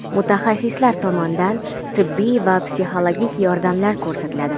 Mutaxassislar tomonidan tibbiy va psixologik yordamlar ko‘rsatiladi.